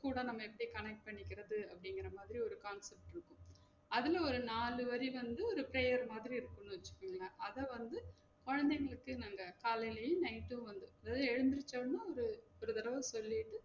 இது கூட நாம எப்டி connect பண்ணிக்குறது அப்டிங்குற மாதிரி ஒரு concept இருக்கும் அதுல ஒரு நாலு வரி வந்து ஒரு prayer மாதிரி இருக்கும் வச்சுகோங்களேன் அத வந்து கொழந்தைங்களுக்கு நாங்க காலேலையும் night உம் வந்து தூங்கி எழுந்திரிச்ச உடனே ஒரு ஒரு தடவ சொல்லிட்டு